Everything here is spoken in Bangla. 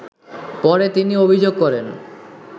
পরে তিনি অভিযোগ করেন